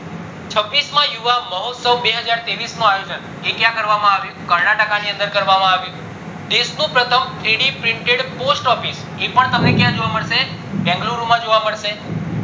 છવીશ માં યુવા મોહત્સવ નું આયોજન એ ક્યાં કરવામાં આવ્યું કર્નાટકા ની અંદર કરવામાં આવ્યું દેશ નું પ્રથમ three d printed post office એ પણ તમને ક્યાં જોવા મળશે બેન્ગ્લોરું માં જોવા મળશે